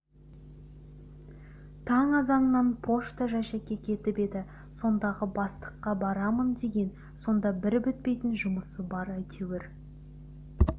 таң азаннан пошта жәшікке кетіп еді сондағы бастыққа барамын деген сонда бір бітпейтін жұмысы бар әйтеуір